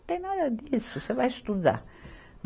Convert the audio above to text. Não tem nada disso, você vai estudar.